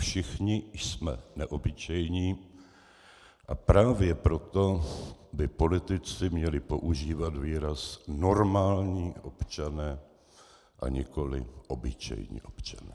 Všichni jsme neobyčejní, a právě proto by politici měli používat výraz "normální občané", a nikoli "obyčejní občané".